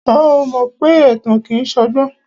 Ṣé o mọ pé ẹ̀tàn kìí ṣọgbọ́n?